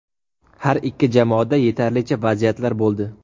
Har ikki jamoada yetarlicha vaziyatlar bo‘ldi.